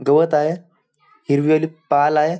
गवत आहे हिरवी वाली पाल आहे.